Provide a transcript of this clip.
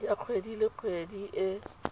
ya kgwedi le kgwedi e